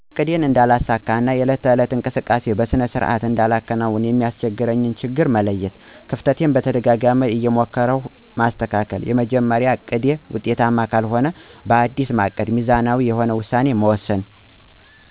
እቅዴን እነዳለሳካ እና የዕለት ተዕለት እንቅስቃሴየን በሰነ ስርዓት እንዳላከናውን የሚያሰቸግረኝን ችግር መለየት። ከፍተቴን በተደጋጋማ እየሞከርሁ ማሰተካከል። የመጀመርያው እቅዴ ውጤታማ ካልሆንሁ ባዲስ ማቀድ ሚዛናዊ የሆነ ውሳኔ መወሰን።